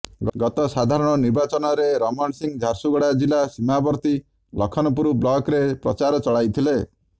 ଗତ ସାଧାରଣ ନିର୍ବାଚନରେ ରମଣ ସିଂ ଝାରସୁଗୁଡ଼ା ଜିଲ୍ଲା ସୀମାବର୍ତ୍ତୀ ଲଖନପୁର ବ୍ଲକ୍ରେ ପ୍ରଚାର ଚଳାଇଥିଲେ